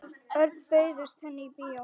Örn, bauðstu henni í bíó?